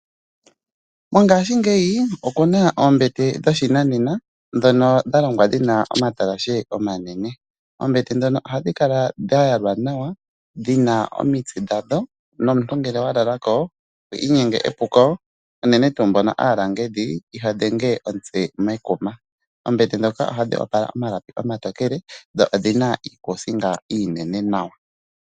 Mongashingeyi okuna oombete dhoshinanena ndhono ndhalongwa dhina omatalashe omanene, oombete dhono ohandhi kala dhayalwa nawa dhina omitse ndhandho nomuntu ngele walala ko twiinyenge epuko unene tuu aalangedhi ihandhenge omutse mekuma oombete dhoka ohandhi opala omalapi omatokele dho odhina iikuusinga iinene nawa.